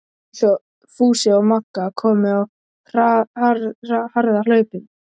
Fúsi og Magga komu á harðahlaupum.